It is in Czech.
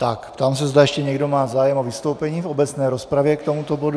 Tak, ptám se, zda ještě někdo má zájem o vystoupení v obecné rozpravě k tomuto bodu.